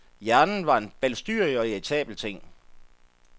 Hjernen var en balstyrig og irritabel ting.